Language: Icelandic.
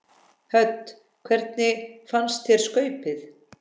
Hödd: Hvernig fannst þér skaupið?